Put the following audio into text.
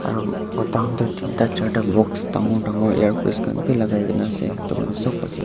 aro khan tu deenta charda box dangor dangor ear piece khan bi lakaikena ase etu khan sab ase.